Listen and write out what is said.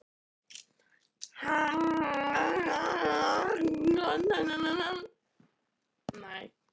Hann er þá enn á lífi sagði ég.